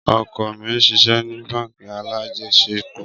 Ọkọ mi ṣiṣẹ ni bánk alájẹsẹ́kù.